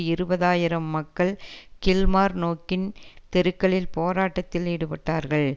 இருபது ஆயிரம் மக்கள் கில்மார்னோக்கின் தெருக்களில் போராட்டத்தில் ஈடுபட்டார்கள்